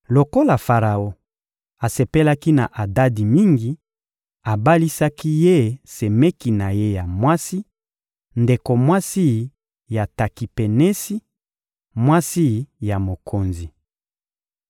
Lokola Faraon asepelaki na Adadi mingi, abalisaki ye semeki na ye ya mwasi, ndeko mwasi ya Takipenesi, mwasi ya mokonzi.